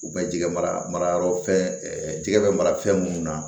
U bɛ jɛgɛ marayɔrɔ fɛn jɛgɛ bɛ mara fɛn minnu na